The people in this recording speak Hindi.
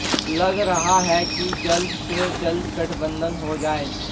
लग रहा है कि जल्द से जल्द गठबंधन हो जाए